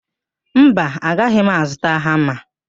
Mba, agaghị m azụta hama.